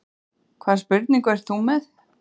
Hvaða spurningu ert þú með?